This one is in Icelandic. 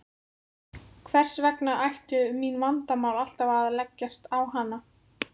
Hvers vegna ættu mín vandamál alltaf að leggjast á hana.